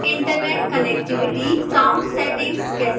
internet connectivity sound settings कैसे करें